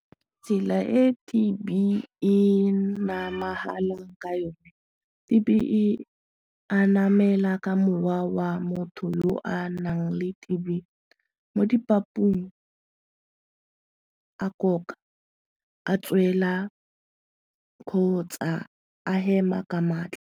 Tsela e T_B e namahalang ka yone, T_B e anamela ka mowa wa motho yo a nang le T_B mo dipapung a tswela kgotsa a hema ka maatla.